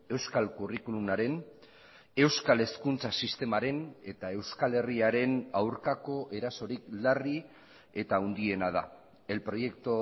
euskal curriculum aren euskal hezkuntza sistemaren eta euskal herriaren aurkako erasorik larri eta handiena da el proyecto